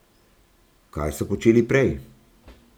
Kaj so počeli prej?